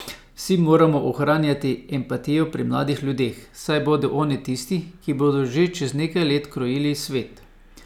Vsi moramo ohranjati empatijo pri mladih ljudeh, saj bodo oni tisti, ki bodo že čez nekaj let krojili svet.